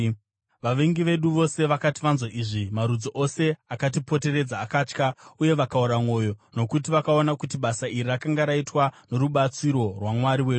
Vavengi vedu vose vakati vanzwa izvi, marudzi ose akatipoteredza akatya uye vakaora mwoyo, nokuti vakaona kuti basa iri rakanga raitwa norubatsiro rwaMwari wedu.